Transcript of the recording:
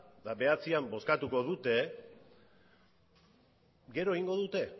eta bederatzian bozkatuko dute gero egingo dute